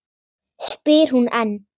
spyr hún enn.